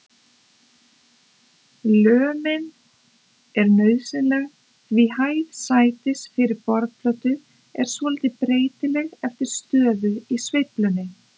Lömin er nauðsynleg því hæð sætis yfir borðplötu er svolítið breytileg eftir stöðu í sveiflunni.